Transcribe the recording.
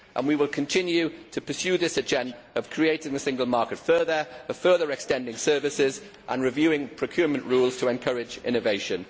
We will continue to pursue this agenda of creating the single market, of further extending services and reviewing procurement rules to encourage innovation.